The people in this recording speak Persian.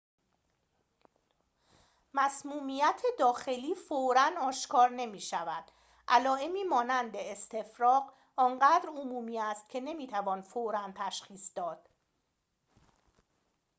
مسمومیت داخلی فوراً آشکار نمی‌شود علائمی مانند استفراغ آنقدر عمومی است که نمی‌توان فوراً تشخیص داد